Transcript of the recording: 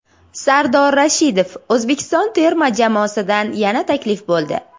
Sardor Rashidov: O‘zbekiston terma jamoasidan yana taklif bo‘ldi.